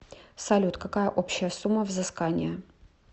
салют какая общая сумма взыскания